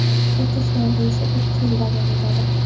O‘tish davri esa ikki yil davom etadi.